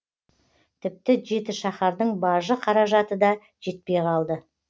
тіпті жетішаһардың бажы қаражаты да жетпей қалды